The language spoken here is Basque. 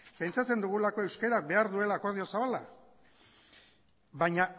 pentsatzen dugulako euskarak behar duela akordio zabala baina